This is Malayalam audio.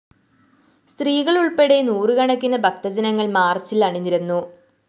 സ്ത്രീകള്‍ ഉള്‍പ്പെടെ നൂറുകണക്കിന് ഭക്തജനങ്ങള്‍ മാര്‍ച്ചില്‍ അണിനിരന്നു